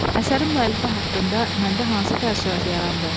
Əsərin müəllifi haqqında məndə hansı təəssürat yarandı?